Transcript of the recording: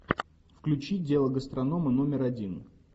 включи дело гастронома номер один